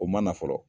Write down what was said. O ma na fɔlɔ